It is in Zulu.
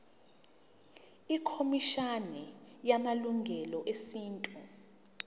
ikhomishana yamalungelo esintu